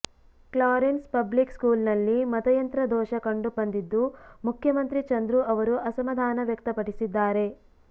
Clarence public ಸ್ಕೂಲ್ನಲ್ಲಿ ಮತಯಂತ್ರ ದೋಷ ಕಂಡು ಬಂದಿದ್ದು ಮುಖ್ಯಮಂತ್ರಿ ಚಂದ್ರು ಅವರು ಅಸಮಾಧಾನ ವ್ಯಕ್ತಪಡಿಸಿದ್ದಾರೆ